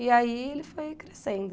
E aí ele foi crescendo.